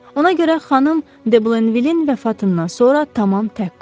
Ona görə xanım De Blenvilin vəfatından sonra tamam tək qaldım.